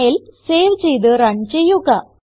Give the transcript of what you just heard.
file save ചെയ്ത് run ചെയ്യുക